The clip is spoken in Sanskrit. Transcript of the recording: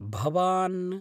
भवान्?